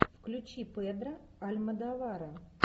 включи педро альмодовара